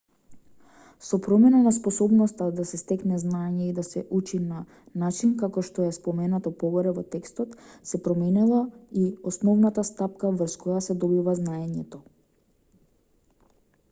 со промена на способноста да се стекне знаење и да се учи на начин како што е споменато погоре во текстот се променила и основната стапка врз која се добива знаењето